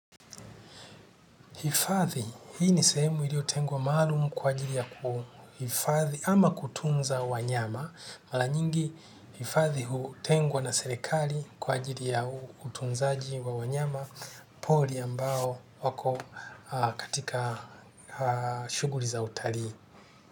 Hifadhi, hii ni sehemu iliyo tengwa malumu kwa jiri ya kuhifadhi ama kutunza wanyama. Mara nyingi hifadhi hutengwa na serikali kwa ajili ya utunzaji wa wanyama pori ambao wako katika shughuli za utalii.